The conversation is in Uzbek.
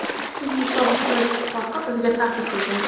Chunki sobiq Sovet ittifoqi bizga ta’sir qilgan.